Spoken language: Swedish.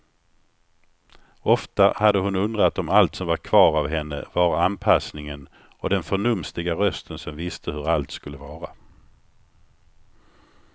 Ofta hade hon undrat om allt som var kvar av henne var anpassningen och den förnumstiga rösten som visste hur allt skulle vara.